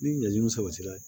Ni ɲan sabatila